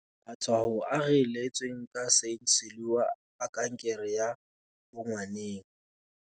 Matshwao a ree letsweng ka St Siluan a kankere ya bongwaneng.